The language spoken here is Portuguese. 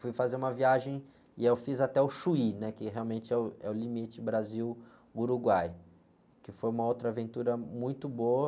Fui fazer uma viagem e eu fiz até o Chuí, né? Que realmente é o, é o limite Brasil-Uruguai, que foi uma outra aventura muito boa.